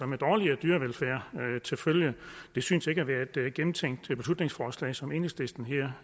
med dårligere dyrevelfærd til følge det synes ikke at være gennemtænkt i det beslutningsforslag som enhedslisten her